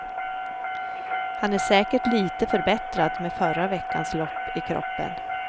Han är säkert lite förbättrad med förra veckans lopp i kroppen.